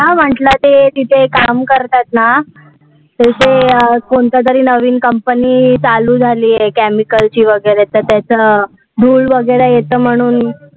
हम्म म्हंटल ते तिथे काम करतात ना, ते हे अं कोणता तरी नवीन company चालू झाली आहे chemicle ची वगैरे तर त्याच धूळ वगैरे येतं म्हणून